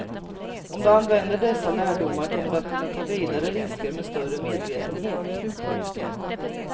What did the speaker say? Om du använder dessa lärdomar kommer du att kunna ta vidare risker med större medvetenhet. punkt